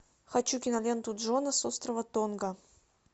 хочу киноленту джона с острова тонга